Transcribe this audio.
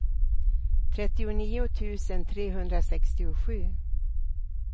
trettionio tusen trehundrasextiosju